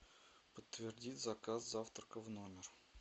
подтвердить заказ завтрака в номер